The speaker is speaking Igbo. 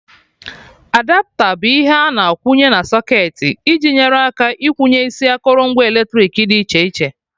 Adapta bụ ihe a na-akwụnye na socketị iji nyere aka ikwụnye isi akụrụngwa eletrik dị iche iche